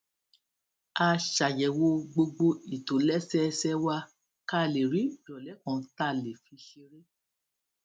a ṣàyèwò gbogbo ìtòlésẹẹsẹ wa ká lè rí ìròlé kan tá a lè fi ṣeré